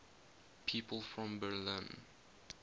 people from berlin